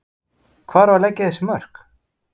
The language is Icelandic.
Hvar á að leggja þessi mörk?